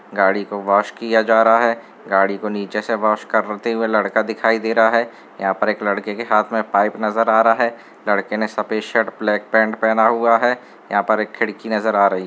गाड़ी को वॉश किया जा रहा है गाड़ी को नीचे से वॉश करते हुए लड़का दिखाई दे रहा है यहां पर एक लड़के के हाथ में पाइप नजर आ रहा है लड़के ने सफेद शर्ट ब्लैक पेंट पहना हुआ है यहां पर एक खिड़की नजर आ रही --